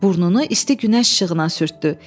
Burnunu isti günəş işığına sürtdü.